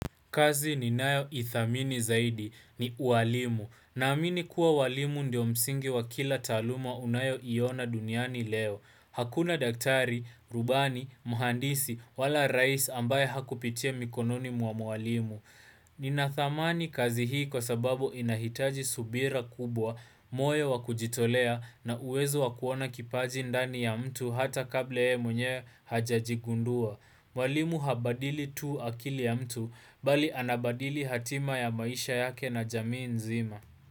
Kazi ni nayo ithamini zaidi ni uwalimu na amini kuwa uwalimu ndio msingi wa kila taaluma unayo iona duniani leo. Hakuna daktari, rubani, muhandisi, wala rais ambaye hakupitia mikononi mwa mwalimu. Ninathamani kazi hii kwa sababu inahitaji subira kubwa, moyo wa kujitolea na uwezo wa kuona kipaji ndani ya mtu hata kabla yeye mwenye hajaji gundua. Walimu habadili tu akili ya mtu, bali anabadili hatima ya maisha yake na jamii nzima.